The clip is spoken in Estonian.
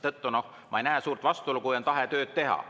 Ma ei näe suurt vastuolu, kui on tahe tööd teha.